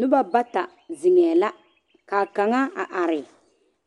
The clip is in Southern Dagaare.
Noba bata zeŋɛɛ la ka a kaŋa a are